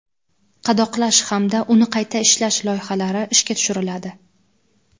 qadoqlash hamda uni qayta ishlash loyihalari ishga tushiriladi.